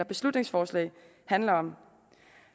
beslutningsforslag handler om